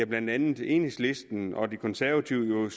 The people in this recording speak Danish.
blandt andet enhedslisten og de konservative